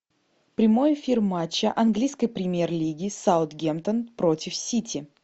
прямой эфир матча английской премьер лиги саутгемптон против сити